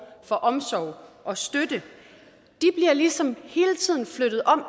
for omsorg og støtte bliver ligesom hele tiden flyttet om